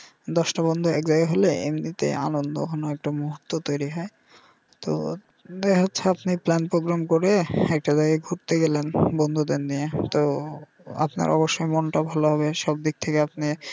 দশটা বন্ধু এক জায়গায় হলে এমনি তে আনন্দঘন একটা মুহূর্ত তৈরী হয় তো যাইহোক সস্ত্রিক plan program করে একটা জায়গায় ঘুরতে গেলেন সব বন্ধুদের নিয়ে তো আপনার অবশ্য মনটা ভালো হবে সব দিক থেকে আপনি.